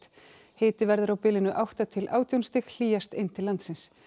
hiti verður á bilinu átta til átján stig hlýjast inn til landsins